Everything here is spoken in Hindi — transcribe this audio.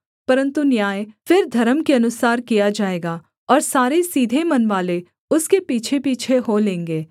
परन्तु न्याय फिर धर्म के अनुसार किया जाएगा और सारे सीधे मनवाले उसके पीछेपीछे हो लेंगे